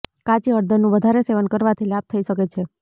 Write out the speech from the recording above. કાચી હળદરનું વધારે સેવન કરવાથી લાભ થઈ શકે છે